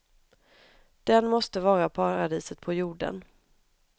Den måste vara paradiset på jorden.